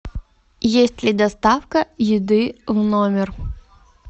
есть ли доставка еды в номер